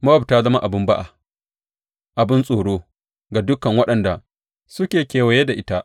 Mowab ta zama abin ba’a abin tsoro ga dukan waɗanda suke kewaye da ita.